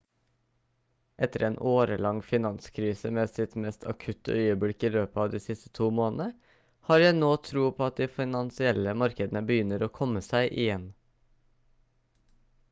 etter en årelang finanskrise med sitt mest akutte øyeblikk i løpet av de siste to månedene har jeg nå tro på at de finansielle markedene begynner å komme seg igjen»